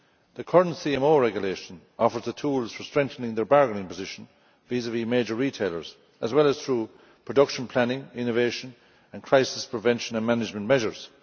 The current CMO regulation offers the tools for strengthening their bargaining position vis vis major retailers, as well as through production planning, innovation, and crisis prevention and management measures.